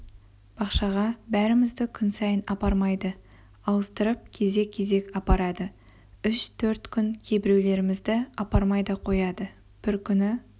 бақшаға бәрімізді күн сайын апармайды ауыстырып кезек-кезек апарады үш-төрт күн кейбіреулерімізді апармай да қояды бір күні